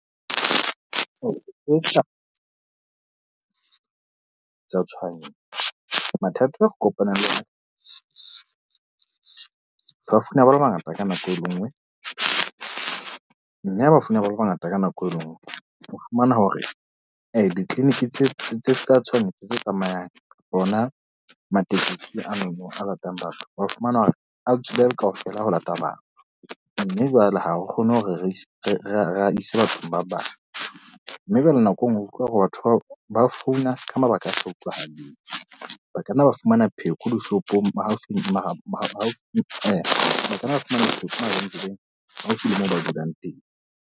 Mathata ao re kopanang le ba founa ba le bangata ka nako e le nngwe mme ba le bangata ka nako e nngwe. O fumana hore di-clinic tse tse tsa tshohanyetso tse tsamayang hona matekesi a maemong a ratang batho ba fumana hore a tswile a le kaofela ho lata batho. Mme jwale ha re kgone hore re re a ise bathong ba bang. Mme jwale nako e nngwe utlwa hore batho bao ba founa ka mabaka a sa utlwahaleng. Ba ka nna ba fumana pheko dishopong ba ka nna ba fumana pheko mabenkeleng haufi le moo ba dulang teng.